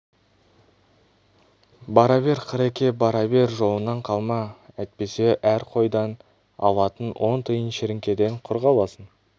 бара бер қыреке бара бер жолыңнан қалма әйтпесе әр қойдан алатын он тиын шіріңкеден құр қаласың